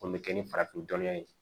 O bɛ kɛ ni farafin dɔnniya ye